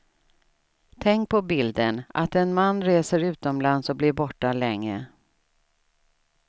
Tänk på bilden, att en man reser utomlands och blir borta länge.